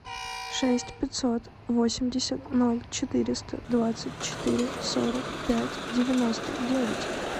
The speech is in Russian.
шесть пятьсот восемьдесят ноль четыреста двадцать четыре сорок пять девяносто девять